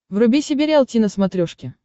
вруби себе риалти на смотрешке